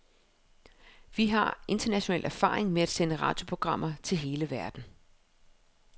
Vi har international erfaring med at sende radioprogrammer til hele verden.